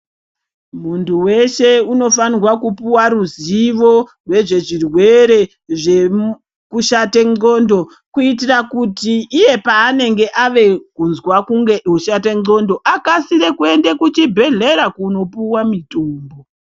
Muntu weshe unofana kupuwa ruzivo nezvezvirwere zvekushata ndxondo kuitira kuti iye paanenge ave kunzwa kunge oshata ndxondo akasire kuenda kuchibhedhlera kopuwa mitombo.